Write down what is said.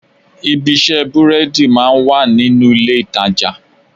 Ibi ìṣe búrẹ́dì máa ń wà nínú ilé-ìtàjà